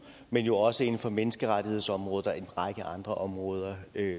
men jo også inden for menneskerettighedsområdet og en række andre områder